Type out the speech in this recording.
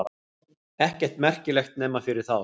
Ekkert merkilegt nema fyrir þá.